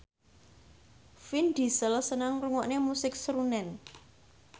Vin Diesel seneng ngrungokne musik srunen